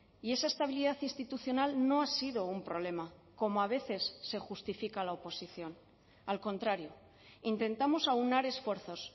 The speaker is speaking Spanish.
y esa estabilidad institucional no ha sido un problema como a veces se justifica la oposición al contrario intentamos aunar esfuerzos